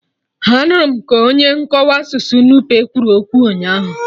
Anụrụ m ka onye nkọwa asụsụ Nupe kwuru okwu ụnyaahụ